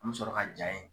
An bɛ sɔrɔ ka ja in